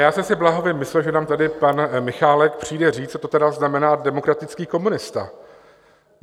Já jsem si bláhově myslel, že nám tady pan Michálek přijde říct, co to tedy znamená demokratický komunista.